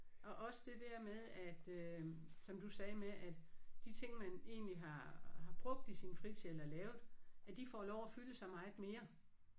Og også det der med at øh som du sagde med at de ting man egentlig har har brugt i sin fritid eller lavet at de får lov at fylde så meget mere